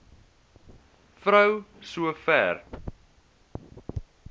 vrou so ver